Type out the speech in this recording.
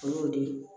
O y'o de ye